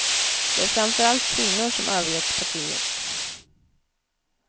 Det är framför allt kvinnor som övergett partiet.